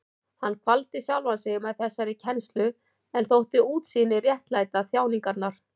Hann kvaldi sjálfan sig með þessari kennslu en þótti útsýnið réttlæta þjáningarnar.